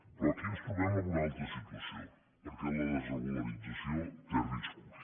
però aquí ens trobem en una altra situació perquè la desregularització té riscos